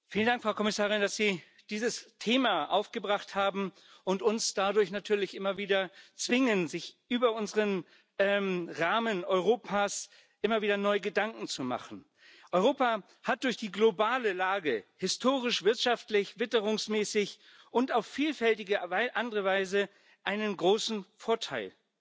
Frau Präsidentin! Vielen Dank, Frau Kommissarin, dass Sie dieses Thema aufgebracht haben und uns dadurch natürlich immer wieder zwingen, uns über unseren Rahmen Europas immer wieder neue Gedanken zu machen. Europa hat durch die globale Lage historisch, wirtschaftlich, witterungsmäßig und auf vielfältige andere Weise einen großen Vorteil.